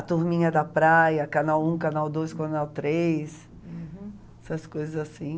A turminha da praia, canal um, canal doi, canal três, uhum, essas coisas assim.